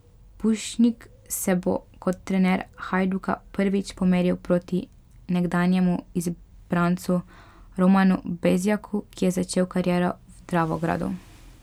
Pušnik se bo kot trener Hajduka prvič pomeril proti nekdanjemu izbrancu Romanu Bezjaku, ki je začel kariero v Dravogradu.